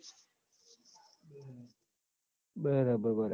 બરાબર બરાબર